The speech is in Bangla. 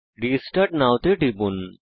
রেস্টার্ট নও তে টিপুন